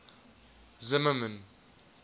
zimmermann